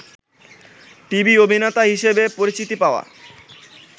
TV অভিনেতা হিসেবে পরিচিতি পাওয়া